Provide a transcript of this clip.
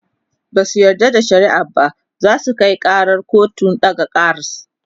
Basu yarda da shari'ar ba zasu Kai karar kotun ɗaga kars